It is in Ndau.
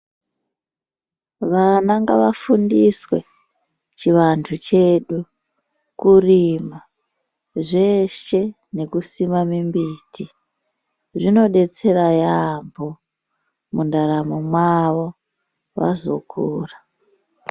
Vana nagavafundiswe chivantu chedu. Kurima, zveshe nekusima mimbiti zvinodetsera yaambo mundaramo mwavo, vazokura.